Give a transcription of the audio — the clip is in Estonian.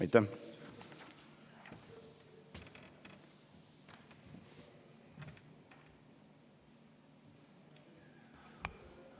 Aitäh!